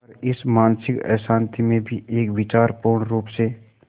पर इस मानसिक अशांति में भी एक विचार पूर्णरुप से